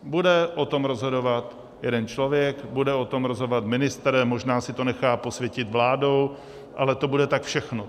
Bude o tom rozhodovat jeden člověk, bude o tom rozhodovat ministr, možná si to nechá posvětit vládou, ale to bude tak všechno.